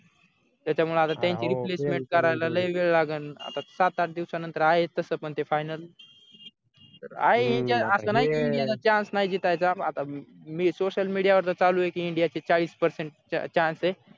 त्यांच्यामुळे आता त्यांचे replacement करायला लई वेळ लागेल आता सात आठ दिवसानंतर आहे तसं पण ते final तर india असं नाही की इंडियाला chance नाही जीतायचा आता मी social media वर चालू आहे की india चे चाळीस percent chance ये